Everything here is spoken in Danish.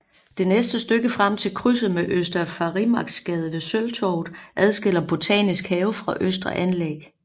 Det næste stykke frem til krydset med Øster Farimagsgade ved Sølvtorvet adskiller Botanisk Have fra Østre Anlæg